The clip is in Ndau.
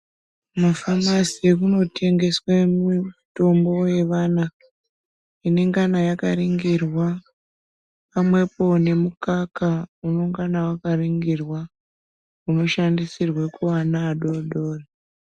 Mumafamasi kunotengeswe mitombo yevana, inengana yakaringirwa, pamwepo nemukaka unongana wakaringirwa, unoshandisirwe kuana adodori .